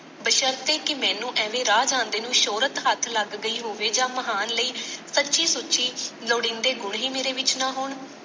ਬੇਸ਼ਰਤੇ ਕਿ ਮੈਨੂੰ ਐਵੇਂ ਰਾਹ ਜਾਂਦੇ ਨੂੰ ਸ਼ੋਹਰਤ ਹੱਥ ਲੱਗ ਗਈ ਹੋਵੇ ਜਾਂ ਮਹਾਨ ਲਈ ਸੱਚੀ ਸੁੱਚੀ ਲੋੜੀਂਦੇ ਗੁਣ ਹੀ ਮੇਰੇ ਵਿਚ ਨਾ ਹੋਣ।